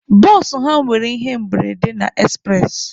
Bụsụ ha nwere ihe mberede na ekspụres.